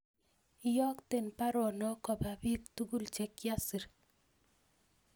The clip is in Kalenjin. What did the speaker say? Iyokten baronok kopa piik tugul chekiasir kasit